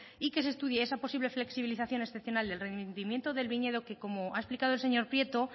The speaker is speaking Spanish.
y que se estudie esa posible flexibilización excepcional del rendimiento del viñedo que como ha explicado el señor prieto